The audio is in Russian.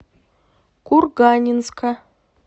курганинска